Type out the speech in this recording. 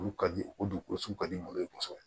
Olu ka di u dugukolo sugu ka di mɔgɔ ye kosɛbɛ